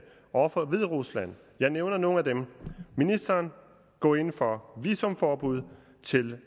over for hviderusland jeg nævner nogle af dem ministeren går ind for visumforbud til